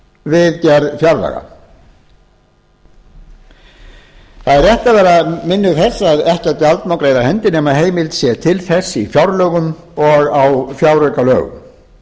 við gerð fjárlaga það er rétt að vera minnug þess að ekkert gjald má greiða af hendi nema að heimild sé til þess í fjárlögum og á fjáraukalögum